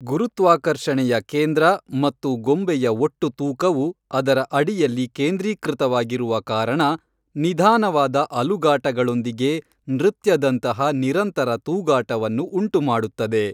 ಗುರುತ್ವಾಕರ್ಷಣೆಯ ಕೇಂದ್ರ ಮತ್ತು ಗೊಂಬೆಯ ಒಟ್ಟು ತೂಕವು ಅದರ ಅಡಿಯಲ್ಲಿ ಕೇಂದ್ರೀಕೃತವಾಗಿರುವ ಕಾರಣ, ನಿಧಾನವಾದ ಅಲುಗಾಟಗಳೊಂದಿಗೆ ನೃತ್ಯದಂತಹ ನಿರಂತರ ತೂಗಾಟವನ್ನು ಉಂಟುಮಾಡುತ್ತದೆ.